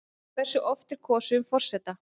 Hversu oft er kosið um forseta?